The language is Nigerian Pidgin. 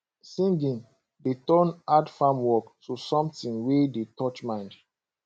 singing dey turn hard farm work to something wey dey touch mind